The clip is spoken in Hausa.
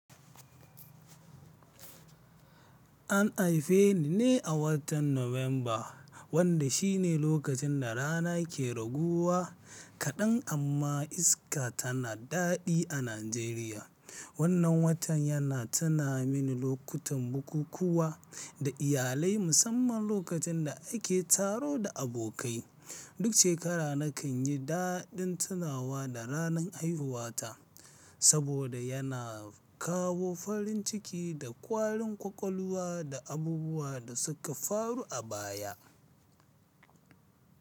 An haife ni ne a watan November, wanda shi ne lokacin da rana ke raguwa kaɗan amma iska tana daɗi a Najeriya. Wannan watan yana tuna mini lokutan bukukkuwa da iyalai musamman lokacin da ake taro da abokai. Duk shekara nakan yi daɗin tunawa da ranar haihuwata saboda yana kawo farin ciki da ƙwarin ƙwaƙwalwa da abubuwan da suka faru a baya.